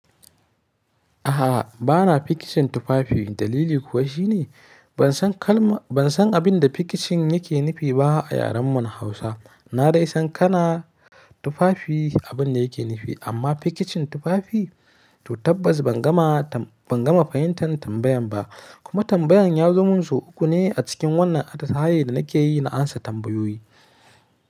A'a, bana pikichin tufafi. Dalili kuwa shi ne ban san abin da pikichin yake nufi ba a yaren mu na Hausa. Na dai san kana tufafi abin da yake nufi, amma pikichin tufafi? To tabbas ban gama fahimtar tambayan ba. Kuma tambayan ya zama sau uku ne a cikin wannan atasaye da nake yi na amsa tambayoyi.